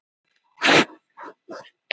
Samstarfsnet opinberra háskóla sett á laggirnar